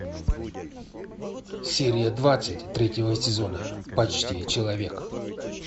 серия двадцать третьего сезона почти человек